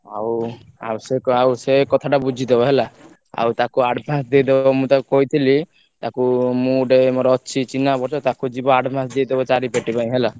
ଆଉ ଆଉ ସେ ଆଉ ସେ କଥା ଟା ବୁଝିଦବ ହେଲା ଆଉ ତାକୁ advance ଦେଇଦବ ମୁଁ ତାକୁ କହିଥିଲି ତାକୁ ମୁଁ ଗୋଟେ ମୋର ଅଛି ସିଏ ଚିହ୍ନା ପରିଚୟ ତାକୁ ଯିବ advance ଦେଇଦବ ଚାରି ପେଟି ପାଇଁ ହେଲା।